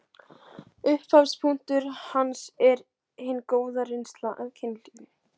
Upphafspunktur hans er hin góða reynsla af kynlífi.